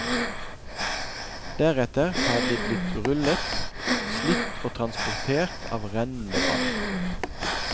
Deretter har de blitt rullet, slitt og transportert av rennende vann.